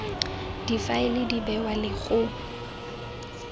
difaele di bewa le go